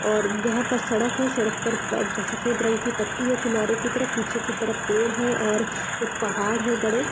और यहाँ पर सड़क है सड़क पर प सफ़ेद रंग की पट्टी है किनारे की तरफ पीछे की तरफ पेड़ है और कुछ पहाड़ हैं बड़े।